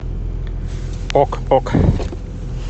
ок ок